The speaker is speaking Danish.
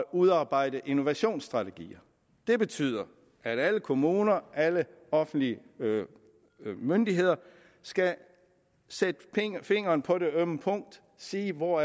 udarbejde innovationsstrategier det betyder at alle kommuner alle offentlige myndigheder skal sætte fingeren på det ømme punkt og sige hvor